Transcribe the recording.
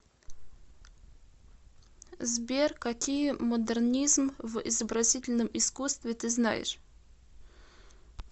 сбер какие модернизм в изобразительном искусстве ты знаешь